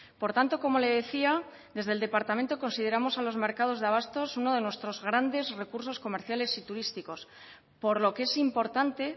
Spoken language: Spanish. por tanto como le decía desde el departamento consideramos a los mercados de abastos uno de nuestros grandes recursos comerciales y turísticos por lo que es importante